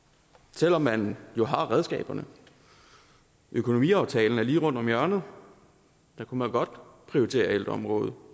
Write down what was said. selv om man jo har redskaberne økonomiaftalen er lige rundt om hjørnet der kunne man godt prioritere ældreområdet